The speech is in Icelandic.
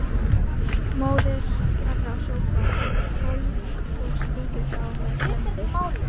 móðir þeirra sópar gólf og strýkir þá með vendi